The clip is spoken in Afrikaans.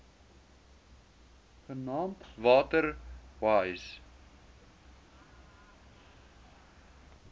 genaamd water wise